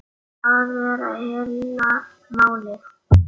Það er heila málið.